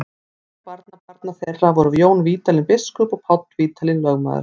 Meðal barnabarna þeirra voru Jón Vídalín biskup og Páll Vídalín lögmaður.